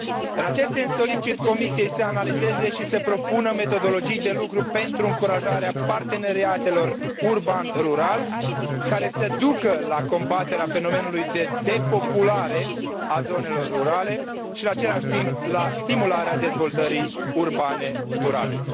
În acest sens, solicit Comisiei să analizeze și să propună metodologii de lucru pentru încurajarea parteneriatelor urban rural, care să ducă la combaterea fenomenului de depopulare a zonelor rurale și, în același timp, la stimularea dezvoltării urbane durabile.